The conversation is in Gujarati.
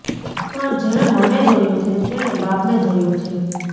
પણ જેણે મને જોયો છે તેણે બાપને જોયો છે